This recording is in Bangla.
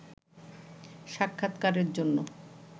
সাক্ষাৎকারের জন্য